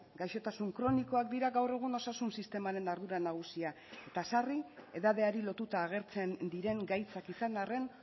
gaixotasun kronikoak dira gaur egun osasun sistemaren ardura nagusia eta sarri edadeari lotuta agertzen diren gaitzak izan arren